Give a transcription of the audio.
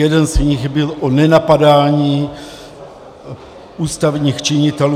Jeden z nich byl o nenapadání ústavních činitelů.